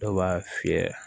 Dɔw b'a fiyɛ